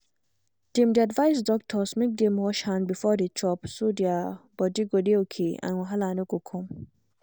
dem dey advise doctors make dem wash hand before dey chop so their body go dey okay and wahala no go come.